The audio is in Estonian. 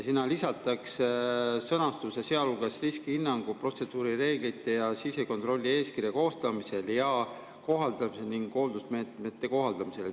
Sinna lisatakse sõnastus "sealhulgas riskihinnangu, protseduurireeglite ja sisekontrollieeskirja koostamisel ja kohaldamisel ning hoolsusmeetmete kohaldamisel".